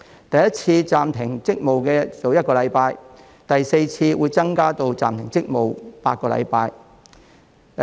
第一次暫停職務是1星期，第四次暫停職務會增加至8星期。